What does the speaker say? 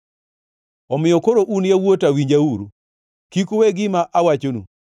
Omiyo koro un yawuota, winjauru, kik uwe gima awachonu.